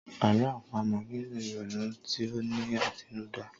Àlọ́́ àpamọ̀ nílò ìrònú tí ó ní àtinúdá.